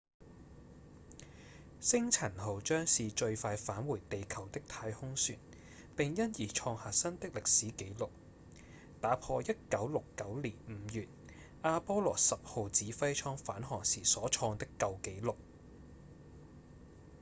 星塵號將是最快返回地球的太空船並因而創下新的歷史紀錄打破1969年5月阿波羅10號指揮艙返航時所創的舊紀錄